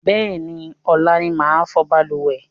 Bẹ́ẹ̀ni, ọ̀la ni màá fọ̀ balùwẹ̀